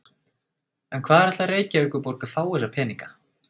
En hvar ætlar Reykjavíkurborg að fá þessa peninga?